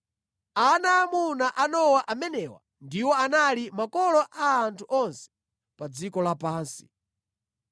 Ana aamuna a Nowa amenewa ndiwo anali makolo a anthu onse pa dziko lapansi.